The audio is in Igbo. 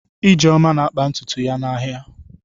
Ijeoma na-akpa ntutu isi ya n'ahịa.